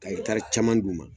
Ka hɛtari caman d'u ma